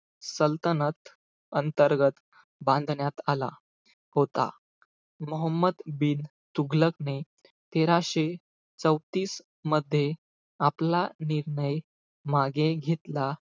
सल्तनत अंतर्गत बांधण्यात आला. होता. मोहम्मद बिन तुघलकने, तेराशे चौतीस मध्ये, आपला निर्णय मागे घेतला.